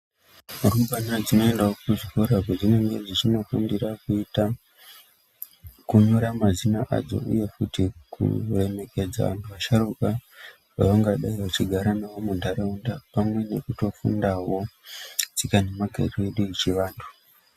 Rumbwana dzinoendao kuzvikora kwadzinenge dzeifundira kuita kunyora mazina adzo uyezve kuremejedza vanthu vasharuka vadzinenge dzeigara nadzo muntharaunda pamwe nekutofundao tsika nemagariro edu echivanthu.